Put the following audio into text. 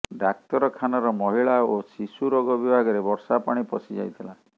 ଡାକ୍ତରଖାନାର ମହିଳା ଓ ଶିଶୁ ରୋଗ ବିଭାଗରେ ବର୍ଷା ପାଣି ପଶିଯାଇଥିଲା